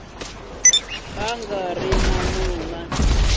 a nga ri na n